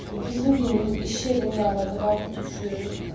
Bizim binanın iş yerinin yanıdır bax bu düşüb.